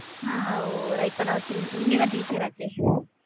நீங்கதான் டீச்சர் ஆச்சே.